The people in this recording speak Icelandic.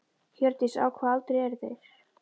Hjördís: Á hvaða aldri eru þeir?